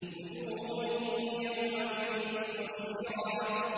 وُجُوهٌ يَوْمَئِذٍ مُّسْفِرَةٌ